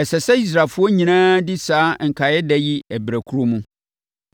Ɛsɛ sɛ Israelfoɔ nyinaa di saa nkaeɛda yi berɛ korɔ mu.